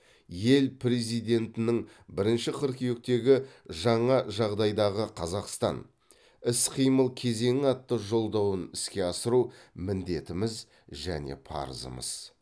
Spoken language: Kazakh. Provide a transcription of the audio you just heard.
ел президентінің бірінші қыркүйектегі жаңа жағдайдағы қазақстан іс қимыл кезеңі атты жолдауын іске асыру міндетіміз және парызымыз